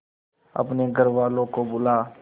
अपने घर वालों को बुला